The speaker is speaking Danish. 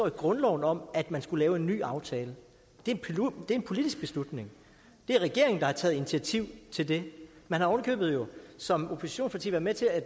i grundloven om at man skulle lave en aftale det er en politisk beslutning det er regeringen der har taget initiativ til det man har ovenikøbet som oppositionsparti været med til at